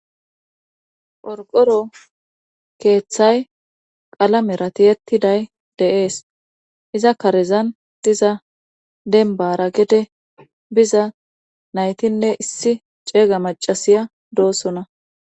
Qorqoro keeththay qalamera tiyettiday deees iza karezan diza denbara gede biza naytinne issi ceega macasiya doosona.